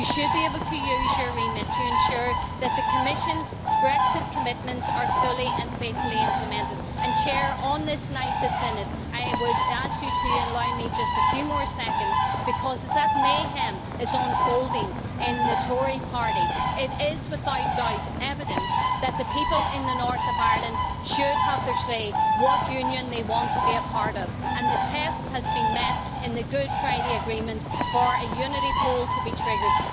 You should be able to use your remit to ensure that the Commission's Brexit commitments are fully and faithfully implemented. Mr President, on this night I would ask you to allow me just a few more seconds, because as mayhem is unfolding in the Tory party, it is without doubt evident that the people in the north of Ireland should have their say what Union they want to be a part of, and the test has been met in the Good Friday Agreement for a unity poll to be triggered.